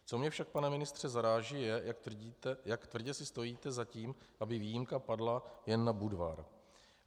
Co mě však, pane ministře, zaráží, je, jak tvrdě si stojíte za tím, aby výjimka padla jen na Budvar.